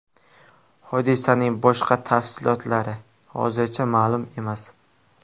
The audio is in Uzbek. Hodisaning boshqa tafsilotlari hozircha ma’lum emas.